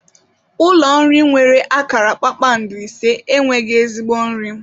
Ụlọ nri nwere akara kpakpando ise enweghị ezigbo nri.